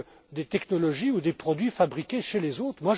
seulement des technologies ou des produits fabriqués par